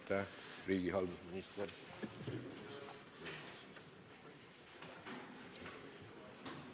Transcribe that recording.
Aitäh, riigihalduse minister!